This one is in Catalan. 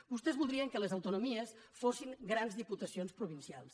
vostès voldrien que els autonomies fossin grans diputacions provincials